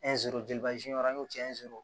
an y'o sɔrɔ